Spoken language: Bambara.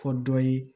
Fɔ dɔ ye